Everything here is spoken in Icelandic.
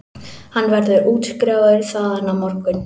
Hann verður útskrifaður þaðan á morgun